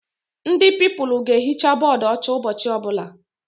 Ndị Pupilụ ga ehicha bọdụ ọcha ụbọchị ọbụla